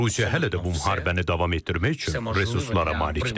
Rusiya hələ də bu müharibəni davam etdirmək üçün resurslara malikdir.